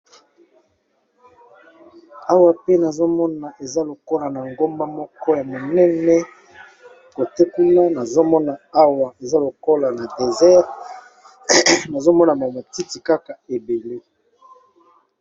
Awa pe nazomona eza lokola na nagomba moko ya monene côté kuna nazomona Awa eza lokola le désert nazomona Kaka ba matiti ebele.